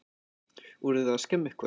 Voruð þið að skemma eitthvað?